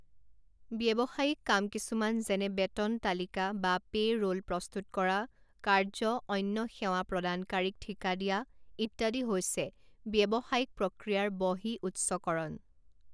ব্যৱসায়িক কাম কিছুমান যেনে বেতন তালিকা বা পে' ৰোল প্ৰস্তুত কৰা কাৰ্য অন্য সেৱা প্ৰদানকাৰীক ঠিকা দিয়া ইত্যাদি হৈছে ব্যৱসায়িক প্ৰক্ৰিয়াৰ বহিঃউৎসকৰণ।